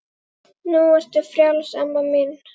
Nú ertu frjáls amma mín.